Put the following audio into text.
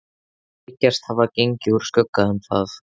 Þeir þykjast hafa gengið úr skugga um það.